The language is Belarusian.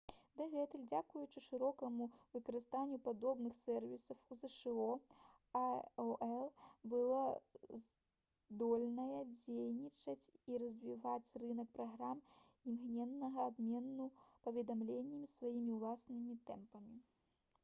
дагэтуль дзякуючы шырокаму выкарыстанню падобных сэрвісаў у зша aol была здольная дзейнічаць і развіваць рынак праграм імгненнага абмену паведамленнямі сваімі ўласнымі тэмпамі